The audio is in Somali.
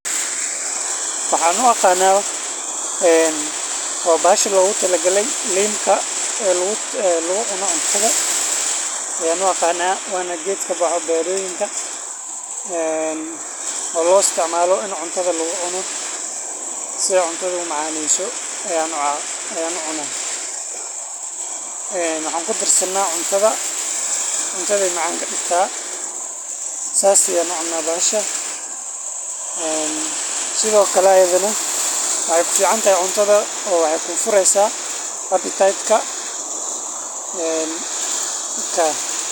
Waxan uaqaana een bahasha lagu talagale linta ee lagu cuno cuntada aya uaqaana wana geedka kabaxo beeroyinka een oo lo isticmaalo in cuntaada lagu cuno si ey cuntada u macaneyso waxan kudarsana cuntada cuntada ayey macaan kadiigta saas aya ucuna bahasha sidhoo kale iyadhaan cuntada ayey kufuriysa Appetite ka.